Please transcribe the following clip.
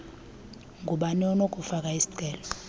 ngubani onokufaka isicelo